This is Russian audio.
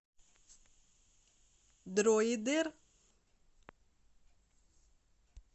дроидер